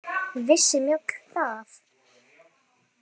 Vissi Njáll það?